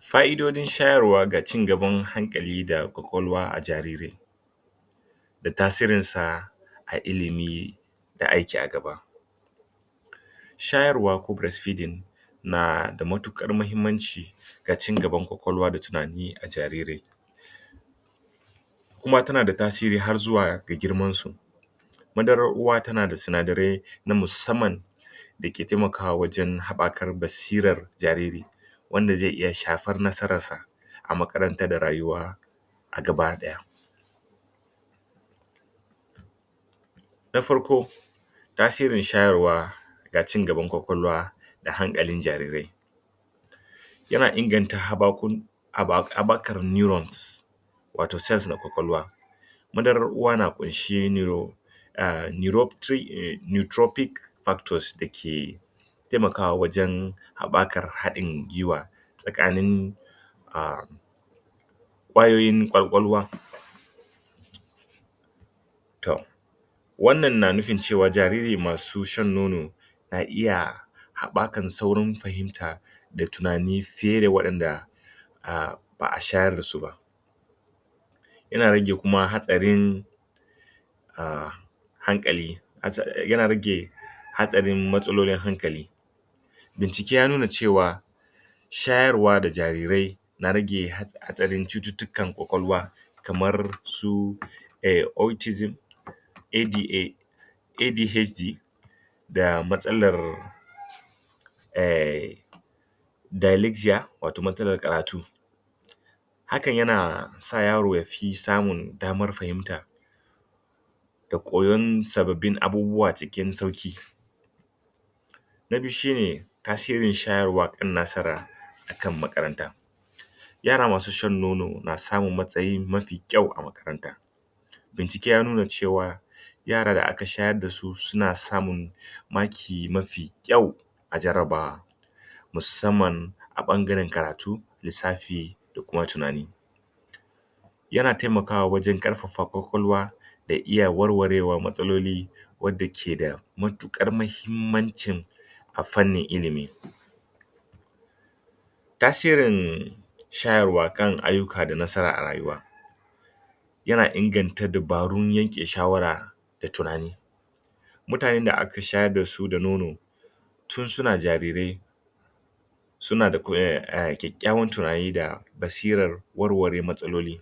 Ƙa'idojin shayarwa da cigaban hankali da ƙwaƙwalwa a jariri. da ta sirinsa, ga ilimi da aiki a gba. Shayarwa ko Breast feeding na da matuƙar muhimmanci ga ci gaban ƙwaƙwalwa da tunani ga jariri. kuma tana da tasiri har zuwa ga girmansu, Madarar uwa tana da sinadarai na musamman da ke taimakawa wajen haɓakar basirar jariri, wanda zai iya shafar nasararsa a makaranta da rayuwa a gaba ɗaya. Na farko, tasirin shayarwa ga ci gaban ƙwaƙwalwa da hankalin jarirai. Yana inganta haɓakar Neurons, wato sense na ƙwaƙwalwa. madarar uwa na ƙunshe neuron Neutrophic factors da ke taimakawa wajen haɓakar haɗin guiwa tsakanin um ƙwayoyin ƙwaƙwalwa Wannan na nufin cewa jariri masu shan nono na iya haɓakan saurin fahimta da tunani fiye da waɗanda ba shayar da su ba. Yana rage kuma hatsarin um hankali, yana rage hatsarin matsalolin hankali. bincike ya nuna cewa Shayarwa ga jarirai na rage hatsarin cututtukan ƙwaƙwalwa kamar su autism ADA ADHD da matsalar um Dyslexia wato matsalar karatu. hakan yana sa yaro ya fi samun damar fahimta da koyon sababbin abubuwa cikin sauƙi. Na biyu shi ne tasirin shayarwa kan nasara a kan makaranta. Yara masu shan nono na samun matsayi mafi kyau a makaranta. bincike ya nuna cewa yara da aka shayar da su suna samun, maki mafi kyau a jarabawa. Musamman a ɓangaren karatun lissafi da kuma tunani. Yana taimakawa wajen ƙarfafa ƙwaƙwalwa da iya warwarewar matsaloli wadda ke da matuƙar muhimmancin a fannin ilimi. Tasirin shayarwa kan aiki da nasara a rayuwa yana inganta dabarun yanke shawara da tunani. mutanen da aka shayar da su da nono tun suna jarirai suna da kyakkyawan tunani da basirar warware matsaloli.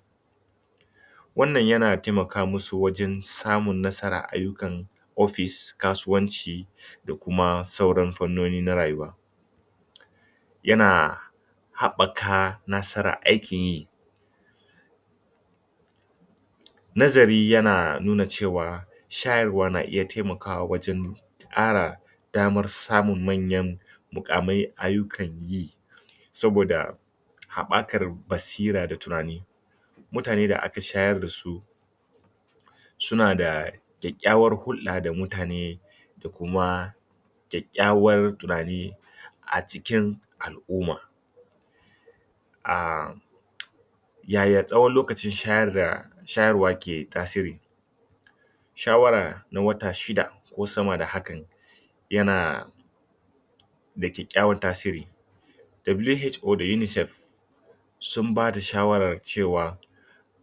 wannan yana taimaka musu wajen samun nasarar ayyukan ofis, kasuwanci da kuma sauran fannoni na rayuwa. yana haɓɓaka nasarar aikin yi Nazari yana nuna cewa, shayarwa na iya taimakawa wajen ƙara damar samun manyan muƙaman ayyukan yi saboda haɓakar basira da tunani. Mutane da aka shayar da su suna da kyakkyawar hulɗa da mutane da kuma kyakkyawan tunani a cikin al'umma. a yaya tsawaon lokacin shayarwa ke tasiri. Shawara na wata shida ko sama da hakan yana da kyakkyawan tasiri WHO da UNICEF sun ba da shawarar cewar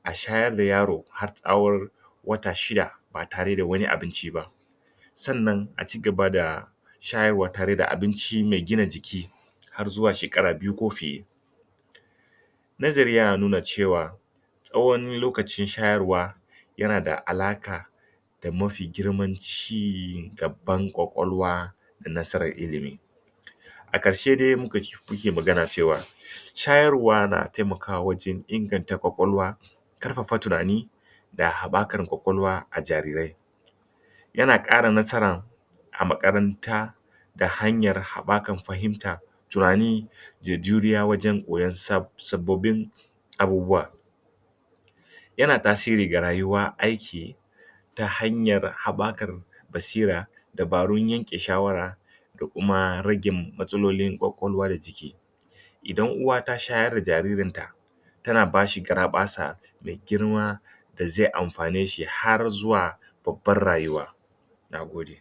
a shayar da yaro har tsawon wata shida ba tare da wani abinci ba sannan a ci gaba da shayarwa tare da abinci mai gina jiki har zuwa shekara biyu ko fiye. Nazari yana nuna cewa tsawon lokacin shayarwa yana da alaƙa da mafi girman ci gaba ƙwaƙwalwa. da nasarar ilimi. a ƙarshe dai mu ka, kuke magana cewa shayarwa na taimakawa wajen inganta ƙwaƙwalwa, ƙarfafa tunani da haɓakar ƙwaƙwalwa a jarirai. yana ƙara nasarar a makaranta, da hanyar haɓakar fahimta, tunani da juriya wajen koyon sababbin abubuwa. yana tasiri ga rayuwar aiki ta hanyar haɓakarɓ basira dabarun yanke shawara da kuma rage matsalolin ƙwaƙwalwa idan uwa ta shayar da jaririnta tana bashi gara ɓasa mai girma, da zai amfane shi har zuwa babbar rayuwa. Na gode.